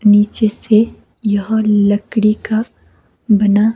नीचे से यह लकड़ी का बना--